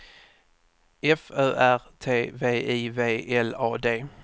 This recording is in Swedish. F Ö R T V I V L A D